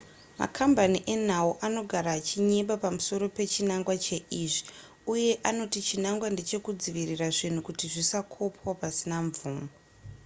makambani enhau anogara achinyeba pamusoro pechinangwa cheizvi uye anoti chinangwa ndechekudzivirira zvinhu kuti zvisakopwa pasina mvumo